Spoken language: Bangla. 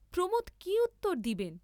প্রমোদ কি উত্তর দিবেন!